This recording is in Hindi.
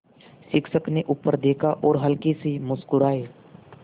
शिक्षक ने ऊपर देखा और हल्के से मुस्कराये